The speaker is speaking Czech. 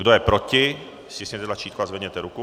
Kdo je proti, stiskněte tlačítko a zvedněte ruku.